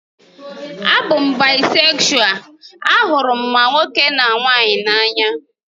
A bụ m baịsekshual, ahụrụ m ma nwoke ma nwanyị n'anya